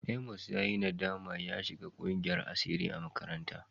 Amos ya yi nadama ya shiga ƙungiyar asiri a makaranta.